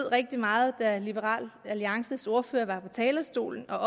rigtig meget da liberal alliances ordfører var på talerstolen og